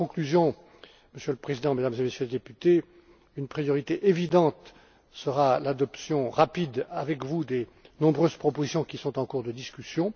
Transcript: En conclusion, Monsieur le Président, Mesdames et Messieurs les députés, une priorité évidente sera l'adoption rapide avec vous des nombreuses propositions qui sont en cours de discussion.